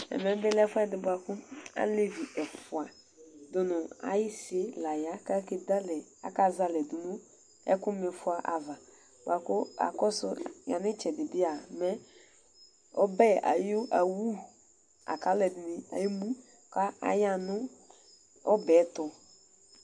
Ɛvɛbi lɛ ɛfuɛdi ku alevi ɛfua du ayisini la ya akazɛ ale du nu ɛku mifɔ ava ku akɔsu yanu itsɛdi bia ɔbɛ awu laku aluɛdini bi emu ayaɣa nu ɔbɛtu